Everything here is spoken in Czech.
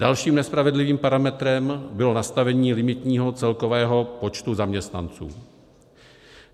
Dalším nespravedlivým parametrem bylo nastavení limitního celkového počtu zaměstnanců.